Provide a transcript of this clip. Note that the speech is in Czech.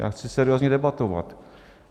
Já chci seriózně debatovat.